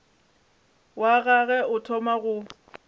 wa gagwe o thoma go